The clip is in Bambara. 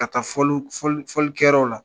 A ka fɔliw fɔlikɛ yɔrɔw la.